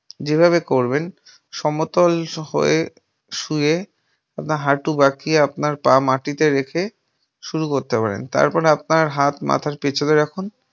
যেভাবে করবেন সমতল‌ হয়ে শুয়ে আপনার হাটু বাঁকিয়ে আপনার পা মাটিতে রেখে শুরু করতে পারেন। তারপর আপনার হাত মাথার পেছনে রাখুন।